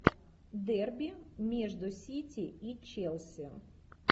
дерби между сити и челси